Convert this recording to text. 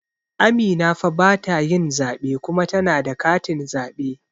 Amina fa batayin zaɓe kuma tana da katin zaɓe